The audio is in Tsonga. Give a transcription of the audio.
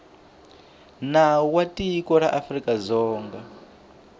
nawu wa tiko ra afrikadzonga